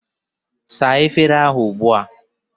Saa efere ugbu a!